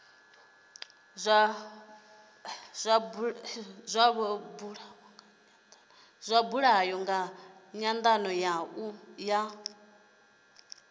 zwa buliwa nga nyandano ya